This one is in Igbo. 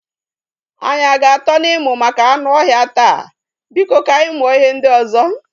Anyị a ga atọ na ịmụ maka anụ ọhịa taa? Biko ka anyị mụọ ihe ndị ozo